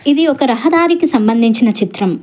ఇది ఒక రహ దారికి సంబందించిన చిత్రం.